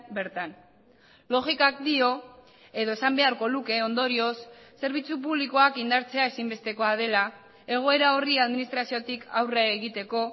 bertan logikak dio edo esan beharko luke ondorioz zerbitzu publikoak indartzea ezinbestekoa dela egoera horri administraziotik aurre egiteko